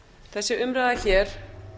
þessi umræða hér